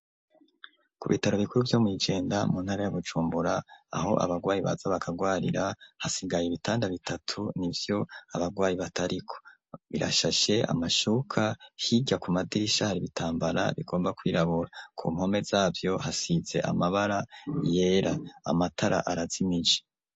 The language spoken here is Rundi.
Ku bitaro bikuru vyo mu jenda mu ntara ya Bujumbura aho abagwayi baza bakagwarira hasigaye ibitanda bitatu nivyo abagwayi batariko birashashe amashuka higya ku madirishari bitambara bigomba kwirabura ku mpome z'abyo hasitze amabara yera amatara arazimiji.